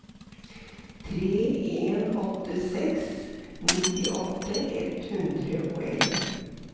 tre en åtte seks nittiåtte ett hundre og elleve